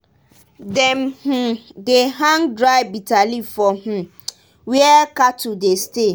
dem um dey hang dry bitter leaf for um where cattle dey stay.